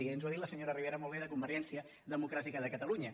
i ens ho ha dit la senyora ribera molt bé de convergència democràtica de catalunya